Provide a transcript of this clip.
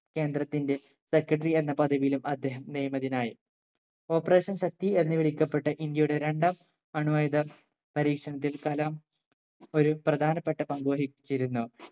കേന്ദ്രത്തിന്റെ secretary എന്ന പദവിയിലും അദ്ദേഹം നിയമിതനായി operation ശക്തി എന്ന് വിളിക്കപ്പെട്ട ഇന്ത്യയുടെ രണ്ടാം അണു ആയുധ പരീക്ഷണത്തിൽ കലാം ഒരു പ്രധാനപ്പെട്ട പങ്കുവഹിച്ചിരുന്നു